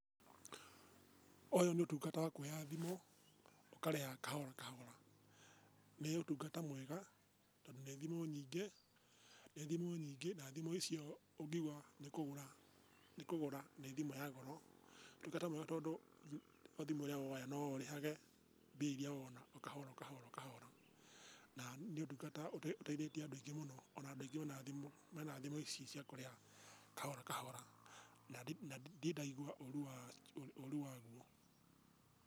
Ũyũ nĩ ũtungata wa kuoya thimũ ũkarĩhaga kahora kahora. Nĩ ũtungata mwega tondũ nĩ thimũ nyingĩ, nĩ thimũ nyingĩ na thimũ icio ũngiuga nĩ kũgũra nĩ kũgũra nĩ thimũ ya goro. Nĩ ũtungata mwega tondũ o thimũ ĩrĩa woya no ũrĩhage mbia iria wona o kahora o kahora o kahora. Na nĩ ũtangata ũteithĩtie andũ aingĩ mũno, ona andũ aingĩ mena thimũ, mena thimũ ici cia kũrĩha kahora kahora, na na ndirĩ ndaigua ũru ũru waguo.